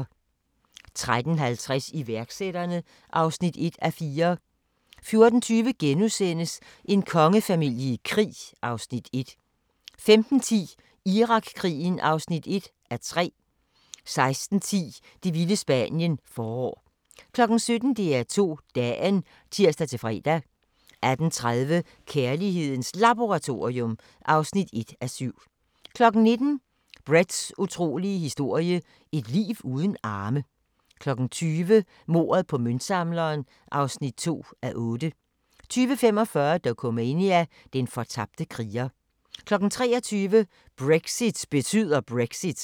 13:50: Iværksætterne (1:4) 14:20: En kongefamilie i krig (Afs. 1)* 15:10: Irakkrigen (1:3) 16:10: Det vilde Spanien – forår 17:00: DR2 Dagen (tir-fre) 18:30: Kærlighedens Laboratorium (1:7) 19:00: Bretts utrolige historie – et liv uden arme 20:00: Mordet på møntsamleren (2:8) 20:45: Dokumania: Den fortabte kriger 23:00: Brexit betyder Brexit